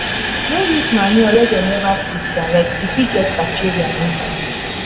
no use manure wey dem never treat direct e fit get bacteria inside.